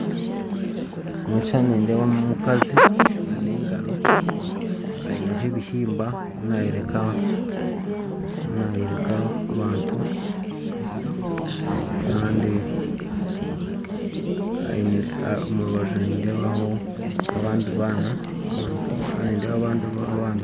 Omu kishushani nindeebamu omukazi n'engaro aineho ebihimba nayoreka abantu kandi omurubaju nindeebaho abandi baana